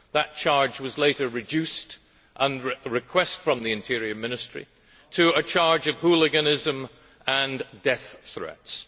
That charge was later reduced, on a request from the Interior Ministry, to a charge of hooliganism and death threats.